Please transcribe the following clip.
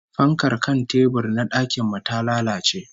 Fankar kan tebur na dakin mu ta lalace